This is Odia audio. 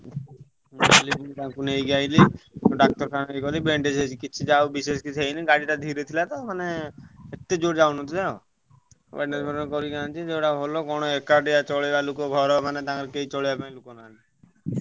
ତାଙ୍କୁ ନେଇକି ଆସିଲି ଡାକ୍ତରଖାନା ନେଇକି ଗଲି bandage ହେଇଛି କିଛି ଯାହା ହଉ ବିଶେଷ କିଛି ହେଇନି ଗାଡି ଟା ଯାହା ହଉ ଗାଡି ଟା ଧୀରେ ଥିଲା ତ ମାନେ ଏତେ ଜୋରେ ଯାଉନଥିଲା। bandage କରିକି ଆଣିଛି ସେଇଟା ଭଲ କଣ ଏକାଟିଆ ଚାଲିବ ଲୋକ ମାନେ ଘର ତାଙ୍କର ମାନେ କେହି ଚକେଇବାପାଇଁ ଲୋକ ନାହାନ୍ତି ।